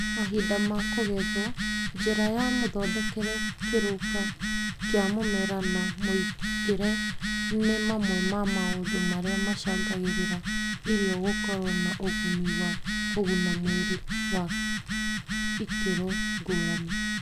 Mahinda ma kũgethwo, njĩra ya mũthondekere, kĩruka kĩa mũmera na mũigĩre nĩ mamwe ma maũndũ marĩa macangagĩra irio gũkorwo na ugũni wa kũguna mwĩrĩ wa ikĩrwo ngũrani.